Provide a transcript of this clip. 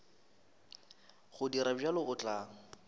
go dira bjalo o tla